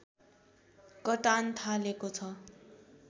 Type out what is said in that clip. कटान थालेको छ